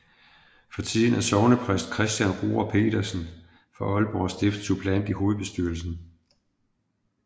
For tiden er sognepræst Christian Roar Pedersen fra Aalborg Stift suppleant i hovedbestyrelsen